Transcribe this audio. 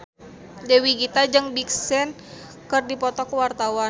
Dewi Gita jeung Big Sean keur dipoto ku wartawan